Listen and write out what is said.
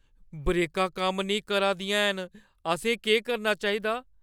ब्रेकां कम्म नेईं करा दियां हैन। असें केह् करना चाहिदा?